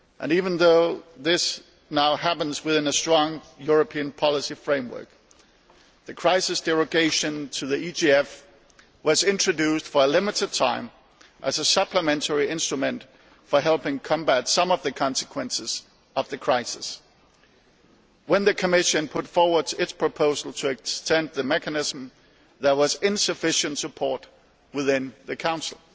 Even though this now happens within a strong European policy framework, the crisis derogation to the EGF was introduced for a limited time as a supplementary instrument for helping combat some of the consequences of the crisis. When the Commission put forward its proposal to extend the mechanism, there was insufficient support within the Council.